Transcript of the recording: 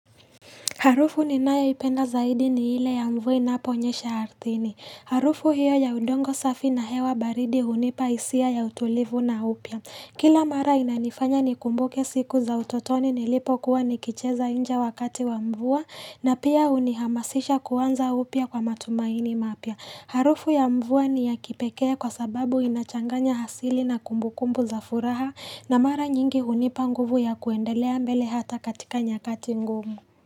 Harufu ninayo ipenda zaidi ni ile ya mvua inaponyesha ardhini. Harufu hiyo ya udongo safi na hewa baridi hunipa hisia ya utulivu na upya. Kila mara inanifanya nikumbuke siku za utotoni nilipo kuwa nikicheza nje wakati wa mvua na pia hunihamasisha kuanza upya kwa matumaini mapya. Harufu ya mvua ni ya kipekee kwa sababu inachanganya asili na kumbukumbu za furaha na mara nyingi hunipa nguvu ya kuendelea mbele hata katika nyakati ngumu.